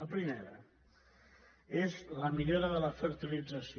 la primera és la millora de la fertilització